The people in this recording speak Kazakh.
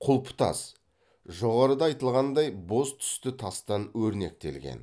құлпытас жоғарыда айтылғандай боз түсті тастан өрнектелген